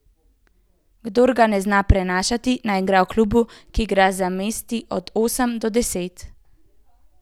Kdor ga ne zna prenašati, naj igra v klubu, ki igra za mesti od osem do deset.